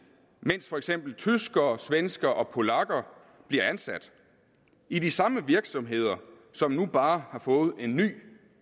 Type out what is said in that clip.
mens for eksempel tyskere og svenskere og polakker bliver ansat i de samme virksomheder som nu bare har fået en ny